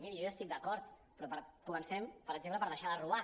miri jo hi estic d’acord però comencem per exemple per deixar de robar